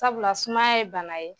Tabula sumaya ye bana ye